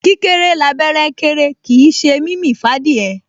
Kíkéré l'abẹ́rẹ́ kéré kìí ṣe mímì f'ádìẹ